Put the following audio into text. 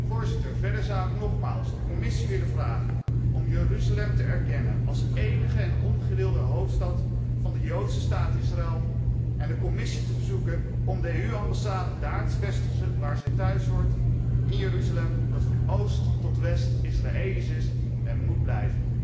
Voorzitter, verder zou ik nogmaals de Commissie willen vragen om Jeruzalem te erkennen als enige en ongedeelde hoofdstad van de joodse staat Israël en de Commissie te verzoeken om de EU ambassade daar te vestigen waar zij thuishoort, in Jeruzalem, dat van oost tot west Israëlisch is en moet blijven.